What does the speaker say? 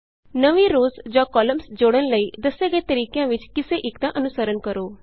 ਨਵੀਂ ਰੋਅਜ਼ ਜਾਂ ਕਾਲਮਸ ਜੋੜਨ ਲਈ ਦੱਸੇ ਗਏ ਤਰੀਕਿਆਂ ਵਿਚੋਂ ਕਿਸੇ ਇਕ ਦਾ ਅਨੁਸਰਨ ਕਰੋ